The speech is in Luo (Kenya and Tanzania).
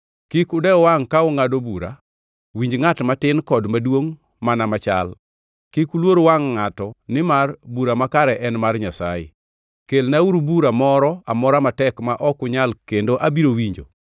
Kik udew wangʼ ka ungʼado bura, winj ngʼat matin kod maduongʼ mana machal. Kik uluor wangʼ ngʼato nimar bura makare en mar Nyasaye. Kelnauru bura moro amora matek ma ok unyal kendo abiro winjo.